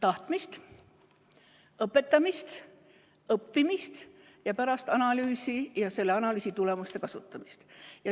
Tahtmist, õpetamist, õppimist ja pärast analüüsi ja selle analüüsi tulemuste kasutamist.